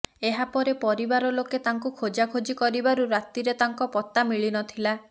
ଏହା ପରେ ପରିବାର ଲୋକେ ତାଙ୍କୁ ଖୋଜାଖୋଜି କରିବାରୁ ରାତିରେ ତାଙ୍କ ପତ୍ତା ମିଳିନଥିଲା